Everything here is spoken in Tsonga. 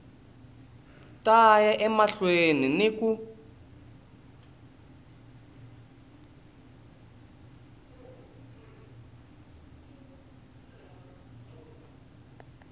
ta ya emahlweni ni ku